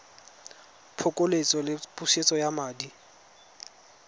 phokoletso le pusetso ya madi